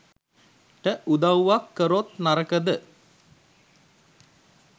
ට උදවුවක් කරොත් නරකද